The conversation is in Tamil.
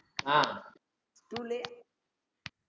அஹ்